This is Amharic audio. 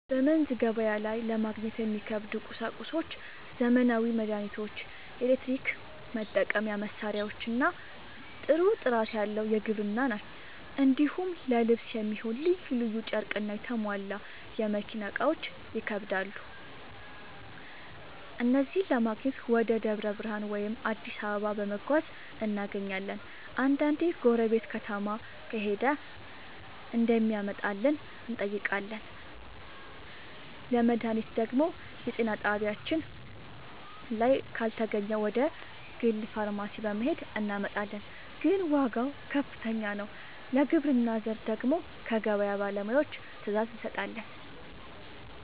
በመንዝ ገበያ ላይ ለማግኘት የሚከብዱ ቁሳቁሶች ዘመናዊ መድሃኒቶች፣ የኤሌክትሪክ መጠቀሚያ መሳሪያዎችና ጥሩ ጥራት ያለው የግብርና ᛢል ናቸው። እንዲሁም ለልብስ የሚሆን ልዩ ልዩ ጨርቅና የተሟላ የመኪና እቃዎች ይከብዳሉ። እነዚህን ለማግኘት ወደ ደብረ ብርሃን ወይም አዲስ አበባ በመጓዝ እናገኛለን፤ አንዳንዴ ጎረቤት ከተማ ከሄደ እንዲያመጣልን እንጠይቃለን። ለመድሃኒት ደግሞ የጤና ጣቢያችን ላይ ካልተገኘ ወደ ግል ፋርማሲ በመሄድ እናመጣለን፤ ግን ዋጋው ከፍተኛ ነው። ለግብርና ዘር ደግሞ ከገበያ ባለሙያዎች ትዕዛዝ እንሰጣለን።